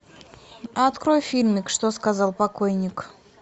открой фильмик что сказал покойник